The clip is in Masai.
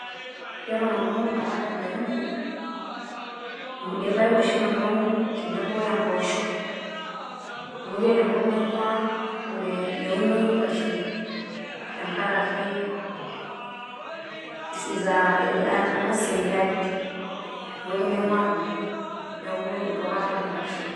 Yiolo nanu ara enkairemoni irpaek oshi nanu aun tenebo o empoosho. Amu ore enkop naing`ua meunoi nkuashen tenkaraki aah amu semi arid ewueji naing`uaa nanu, niaku eitu aikata aun nkuashen.